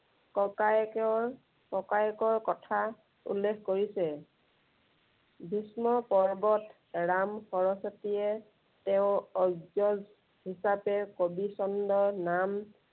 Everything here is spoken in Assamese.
ককায়েকৰ, ককায়েকৰ কথা উল্লেখ কৰিছে। ভীস্ম পৰ্বত ৰাম সৰস্বতীয়ে তেওঁৰ অগ্ৰজ হিচাপে কবি চন্দৰ নাম